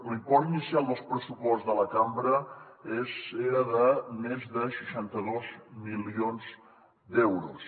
l’import inicial del pressupost de la cambra és era de més de seixanta dos milions d’euros